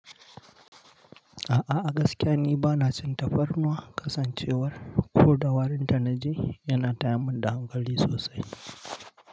A'a, a gaskiya ni bana cin tafarnuwa. Kasancewar ko da warin ta na ji yana tayar min da hankali sosai.